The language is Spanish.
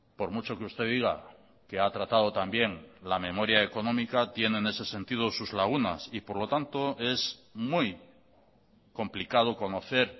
por mucho que usted diga que ha tratado también la memoria económica tiene en ese sentido sus lagunas y por lo tanto es muy complicado conocer